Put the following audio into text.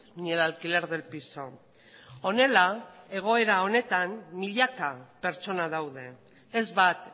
ni el alquiler del piso honela egoera honetan milaka pertsona daude ez bat